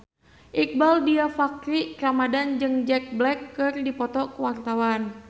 Iqbaal Dhiafakhri Ramadhan jeung Jack Black keur dipoto ku wartawan